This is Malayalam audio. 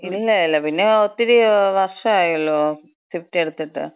ഇല്ല ഇല്ല. പിന്നെ ഒത്തിരി വർഷായല്ലോ സ്വിഫ്റ്റ് എടുത്തിട്ട്.